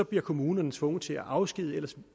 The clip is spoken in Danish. bliver kommunerne tvunget til at afskedige ellers